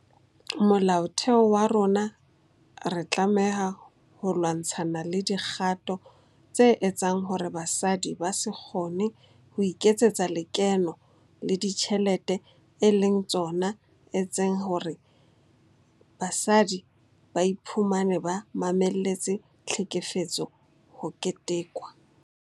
Molaotheo wa rona re tlameha ho lwa-ntshana le dikgato tse etsang hore basadi ba se kgone ho iketsetsa lekeno le dijthelete e leng tsona etseng hore basadi ba iphumane ba mamelletse tlhekefetso ho ketekwa.